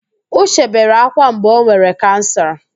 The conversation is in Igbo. Uche bere ákwá mgbe o nwere kansa.